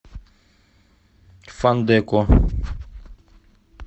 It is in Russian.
фандэко